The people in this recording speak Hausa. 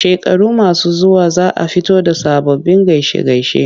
Shekaru masu zuwa za a fito da sababbin gaishe-gaishe.